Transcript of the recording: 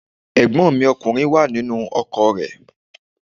Ẹ̀gbọ́n mi ọkùnrin wà nínú ọkọ̀ rẹ̀